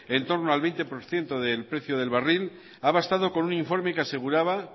en torno al veinte por ciento del precio del barril ha bastado con un informe que aseguraba